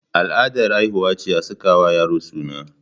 Al'adar haihuwa ce a sakawa yaro suna.